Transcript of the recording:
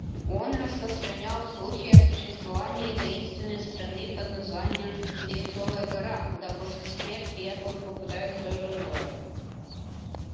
он распространял слухи о существовании таинственной страны под названием леденцовая гора куда после смерти якобы попадает всё живое